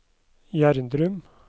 Gjerdrum